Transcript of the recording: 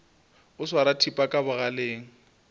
o swara thipa ka bogaleng